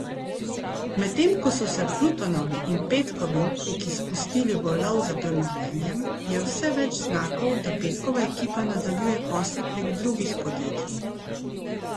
Medtem ko so se Plutonovi in Petkovi upniki spustili v lov za premoženjem, je vse več znakov, da Petkova ekipa nadaljuje posle prek drugih podjetij.